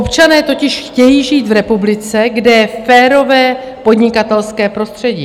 Občané totiž chtějí žít v republice, kde je férové podnikatelské prostředí.